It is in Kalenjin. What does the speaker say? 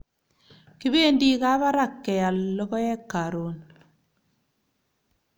kipendi Kabarak keyal lokoek karun